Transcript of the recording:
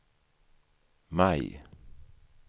maj